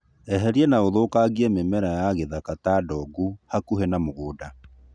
Eheria na ũthũkangie mĩmera ya gĩthaka ta ndongu hakuhĩ na mũgũnda.